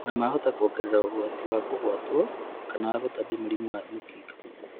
Ona mahota kũongerera ũgwati wa kũgwatwo kana gũtambia mũrimũ ta mũkingo